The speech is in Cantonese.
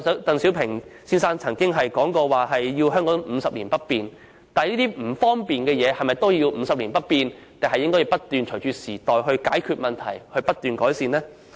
鄧小平先生曾表示香港50年不變，但一些為我們帶來不便的安排，是否也要50年不變，還是應該隨着時代轉變作出解決和不斷改善呢？